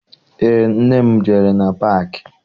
Eé, nne m jere na paakị.